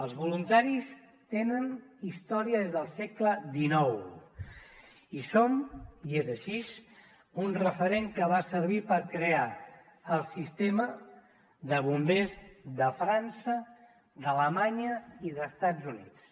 els voluntaris tenen història des del segle xixque va servir per crear el sistema de bombers de frança d’alemanya i d’estats units